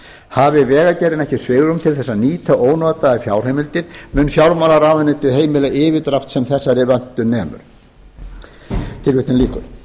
hafi vegagerðin ekki svigrúm til þess að nýta ónotaðar fjárheimildir mun fjármálaráðuneytið heimila yfirdrátt sem þessari vöntun nemur tilvitnun lýkur